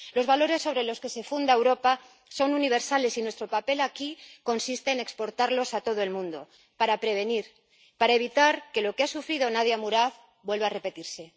Los valores sobre los que se funda Europa son universales, y nuestro papel aquí consiste en exportarlos a todo el mundo para prevenir, para evitar que lo que ha sufrido Nadia Murad vuelve a repetirse.